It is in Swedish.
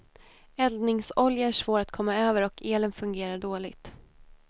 Eldningsolja är svår att komma över och elen fungerar dåligt.